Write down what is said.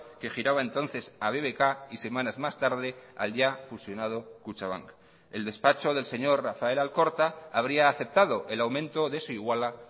que giraba entonces a bbk y semanas más tarde al ya fusionado kutxabank el despacho del señor rafael alcorta habría aceptado el aumento de su iguala